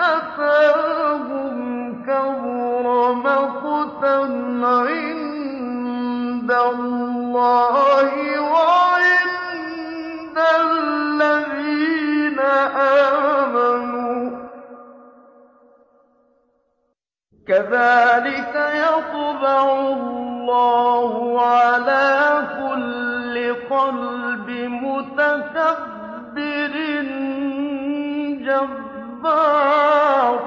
أَتَاهُمْ ۖ كَبُرَ مَقْتًا عِندَ اللَّهِ وَعِندَ الَّذِينَ آمَنُوا ۚ كَذَٰلِكَ يَطْبَعُ اللَّهُ عَلَىٰ كُلِّ قَلْبِ مُتَكَبِّرٍ جَبَّارٍ